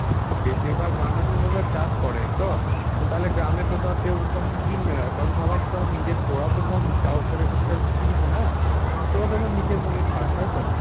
বেশিরভাগ মানুষই তো তার চাষ করে তো? তো তাহলে গ্রামে তো ধর কেউ তখন কিনবে না. কারণ সবাই তো তোরা তো ধর কিনিস না. তোরা তোদের নিজের মনেই খাস. তাই তো?